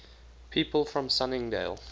people from sunningdale